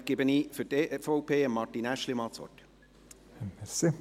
Damit gebe ich für die EVP das Wort an Martin Aeschlimann.